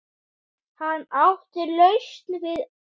Hann átti lausn við öllu.